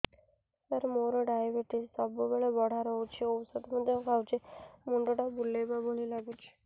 ସାର ମୋର ଡାଏବେଟିସ ସବୁବେଳ ବଢ଼ା ରହୁଛି ଔଷଧ ମଧ୍ୟ ଖାଉଛି ମୁଣ୍ଡ ଟା ବୁଲାଇବା ଭଳି ଲାଗୁଛି